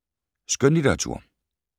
Skønlitteratur